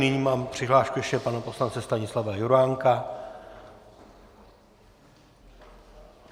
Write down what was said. Nyní mám přihlášku ještě pana poslance Stanislava Juránka.